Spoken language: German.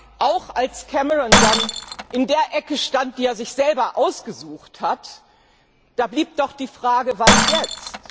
Aber auch als Cameron dann in der Ecke stand, die er sich selber ausgesucht hatte, blieb doch die Frage Was jetzt?